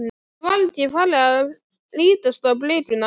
Mér var ekki farið að lítast á blikuna.